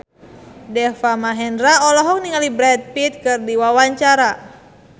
Deva Mahendra olohok ningali Brad Pitt keur diwawancara